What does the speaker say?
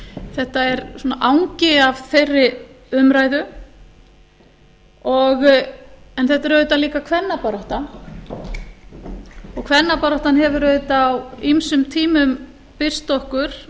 þetta er svona angi af þeirri umræðu en þetta er auðvitað líka kvennabarátta og kvennabaráttan hefur auðvitað á ýmsum tímum birst okkur